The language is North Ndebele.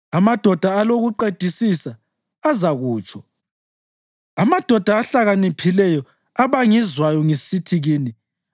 Amadoda alokuqedisisa azakutsho, amadoda ahlakaniphileyo abangizwayo ngisithi kini,